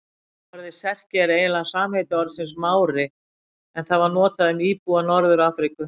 Orðið Serki er eiginlega samheiti orðsins Mári en það var notað um íbúa Norður-Afríku.